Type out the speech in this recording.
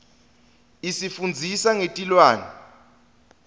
isifundzisa ngetilwane